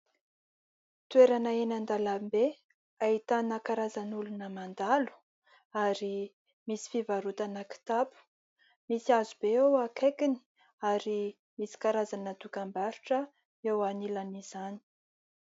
Toerana eny an-dalambe : ahitana karazan'olona mandalo ary misy fivarotana kitapo, misy hazo be eo akaikiny ary misy karazana dokam-barotra eo anilan'izany.